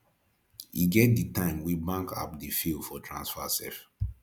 e get di time wey bank app dey fail for transfer sef